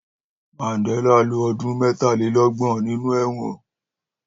Mandela ló ọdun mẹtálélọgbọn ninú ẹwọn